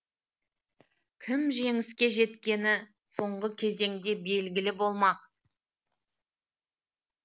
кім жеңіске жеткені соңғы кезеңде белгілі болмақ